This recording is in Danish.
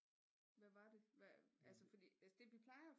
Hvad var det hvad altså fordi altså det vi plejer